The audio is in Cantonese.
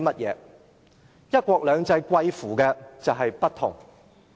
"一國兩制"就是貴乎不同。